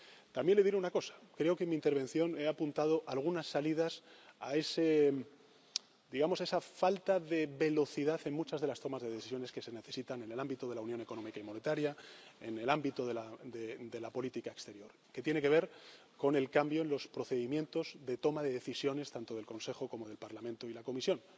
También le diré una cosa creo que en mi intervención he apuntado algunas salidas a esa falta de velocidad en muchas de las tomas de decisiones que se necesitan en el ámbito de la unión económica y monetaria, en el ámbito de la política exterior, que tiene que ver con el cambio en los procedimientos de toma de decisiones, tanto del Consejo como del Parlamento y la Comisión.